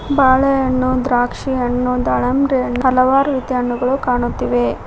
ಬಾಳೆಹಣ್ಣು ದ್ರಾಕ್ಷಿ ಹಣ್ಣು ದಳಂಬ್ರೆ ಹಣ್ಣು ಹಲವಾರು ರೀತಿ ಹಣ್ಣುಗಳು ಕಾಣುತ್ತಿವೆ.